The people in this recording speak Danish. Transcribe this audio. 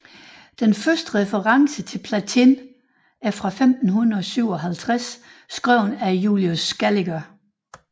Den første reference til platin er fra 1557 skrevet af Julius Scaliger